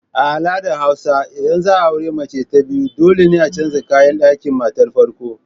A al'adar hausa idan za a auri mace ta biyu dole ne a canza kayan ɗakin matar farko.